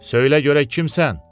Söylə görək kimsən?